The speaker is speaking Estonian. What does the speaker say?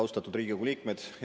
Austatud Riigikogu liikmed!